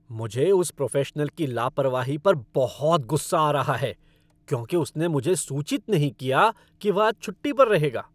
मुझे उस प्रोफ़ेशनल की लापरवाही पर बहुत गुस्सा आ रहा है क्योंकि उसने मुझे सूचित नहीं किया कि वह आज छुट्टी पर रहेगा।